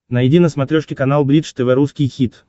найди на смотрешке канал бридж тв русский хит